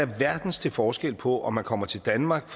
verden til forskel på om man kommer til danmark